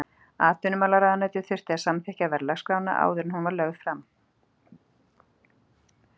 Atvinnumálaráðuneytið þurfti að samþykkja verðlagsskrána áður en hún var lögð fram.